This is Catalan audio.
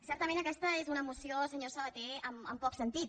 certament aquesta és una moció senyor sabaté amb poc sentit